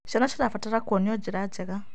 Ciana cirabatara kuonio njĩra njega.